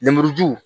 Lemuruju